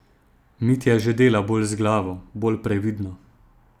Mitja že dela bolj z glavo, bolj previdno.